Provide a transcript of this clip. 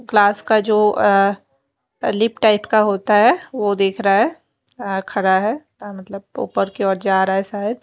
class का जो अह लिप टाइप का होता है वो देख रहा है अह खड़ा है अ मतलब ऊपर की ओर जा रहा है शायद --